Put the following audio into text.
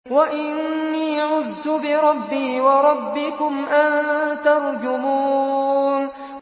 وَإِنِّي عُذْتُ بِرَبِّي وَرَبِّكُمْ أَن تَرْجُمُونِ